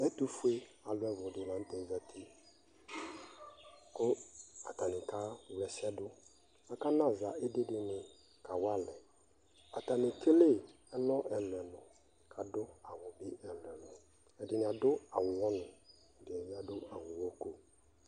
ɛtʋɛ alʋ ɛwlʋ di lantɛ zati kʋ atani kawla ɛsɛ di, aka naza idi di kawa alɛ ,atani ɛkɛlɛ ɛlɔ ɛlʋɛlʋ kʋ adʋ awʋ ɛlʋɛlʋ, ɛdi adʋbawʋ ʋwɔ nʋ ɛdini bi adʋ awʋʋwɔ kɔ